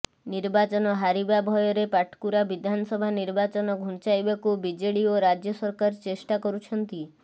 ନିର୍ବାଚନ ହାରିବା ଭୟରେ ପାଟକୁରା ବିଧାନସଭା ନିର୍ବାଚନ ଘୁଞ୍ଚାଇବାକୁ ବିଜେଡି ଓ ରାଜ୍ୟ ସରକାର ଚେଷ୍ଟା କରୁଛନ୍ତି